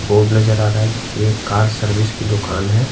Board नजर आ रहा है जो कि एक कार सर्विस की दुकान है।